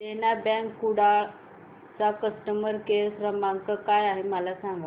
देना bank Kudal चा customer care क्रमांक काय आहे मला सांगा